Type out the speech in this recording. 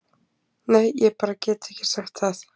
Nei, ég get bara ekki sagt það.